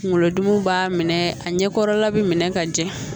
Kunkolodimiw b'a minɛ a ɲɛkɔrɔla bɛ minɛ ka jɛ